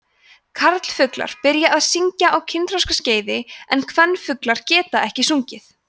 karlfuglar byrja að syngja á kynþroskaskeiði en kvenfuglar geta ekki sungið